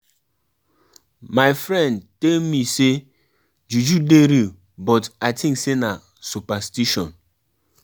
Abeg make una dey arrange the chairs well and no forget to clean am